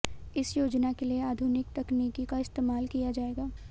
इस योजना के लिए आधुनिक तकनीक का इस्तेमाल किया जाएगा